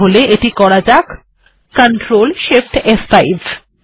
তাহলে এটি করা যাক ctrl shift ফ5